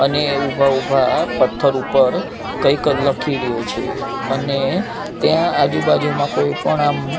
અને એ ઊભા ઊભા પથ્થર ઉપર કઈક લખી રયો છે અને ત્યાં આજુ બાજુમાં કોઈ પણ આમ--